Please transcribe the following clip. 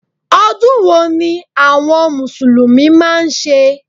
Odún wo ni àwon mùsùlùmí máa n se?